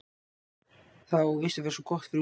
Það á víst að vera svo gott fyrir útlitið.